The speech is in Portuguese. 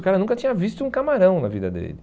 O cara nunca tinha visto um camarão na vida dele.